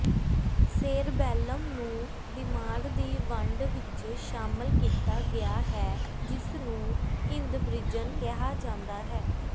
cerebellum ਨੂੰ ਦਿਮਾਗ ਦੀ ਵੰਡ ਵਿਚ ਸ਼ਾਮਲ ਕੀਤਾ ਗਿਆ ਹੈ ਜਿਸਨੂੰ ਹਿੰਦਬ੍ਰਿਜਨ ਕਿਹਾ ਜਾਂਦਾ ਹੈ